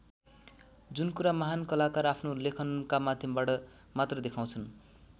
जुन कुरा महान् कलाकार आफ्नो लेखनका माध्यमबाट मात्र देखाउँछन् ।